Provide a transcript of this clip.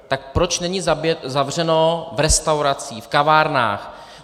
Tak proč není zavřeno v restauracích, v kavárnách?